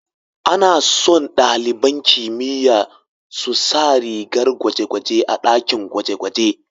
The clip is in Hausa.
Ana so ɗaliban kimiyya su sa rigar gwaje-gwaje a ɗakin gwaje-gwaje.